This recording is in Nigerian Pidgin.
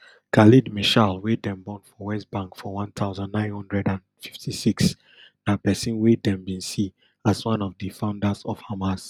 khaled meshaal wey dem born for west bank for one thousand, nine hundred and fifty-six na pesin wey dem bin see as one of di founders of hamas